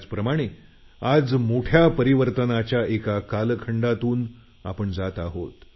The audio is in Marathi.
त्याचप्रमाणे आज मोठ्या परिवर्तनाच्या एका कालखंडातून आपण जात आहोत